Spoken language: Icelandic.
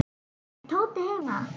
Er Tóti heima?